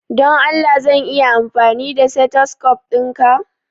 Don Allah zan iya amfani da stethoscope dinka?